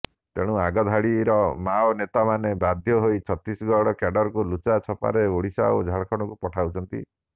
ତେଣୁ ଆଗଧାଡିର ମାଓ ନେତାମାନେ ବାଧ୍ୟହୋଇ ଛତିଶଗଡି କ୍ୟାଡରଙ୍କୁ ଲୁଚା ଛପାରେ ଓଡିଶା ଓ ଝାଡଖଣ୍ଡକୁ ପଠାଉଛନ୍ତି